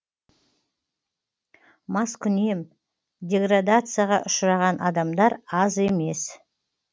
маскүнем деградацияға ұшыраған адамдар аз емес